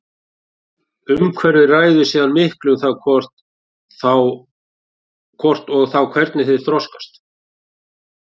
Umhverfið ræður síðan miklu um það hvort og þá hvernig þeir þroskast.